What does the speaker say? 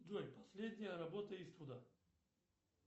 джой последняя работа иствуда